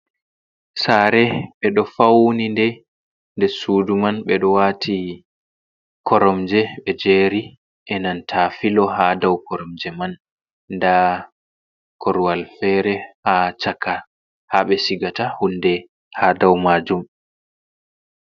Sare ɓe ɗo faunide nder sudu man ɓe dot wati koromje ɓe jeri enan ta filo ha dau koromje man. Nda korwal fere ha chaka habe cigata hunde ha dau majum.